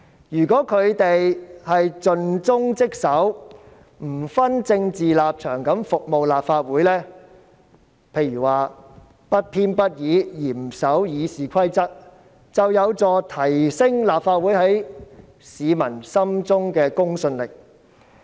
如果他們盡忠職守，不分政治立場服務立法會，譬如不偏不倚，嚴守《議事規則》，就有助提升立法會在市民心中的公信力。